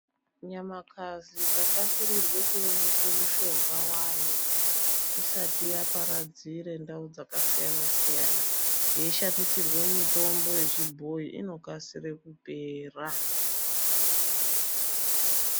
Nyamakazi ikakasirirwa kuonekerwe mishonga wayo isati yaparadzire ndau dzakasiyana siyana yeishandisirwe mitombo yechibhoyi inokasira kupera.